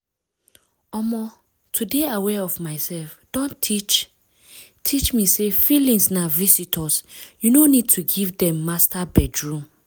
omo to dey aware of myself don teach teach me say feelings na visitors you no need to give dem master bedroom.